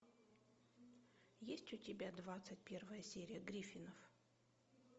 есть у тебя двадцать первая серия гриффинов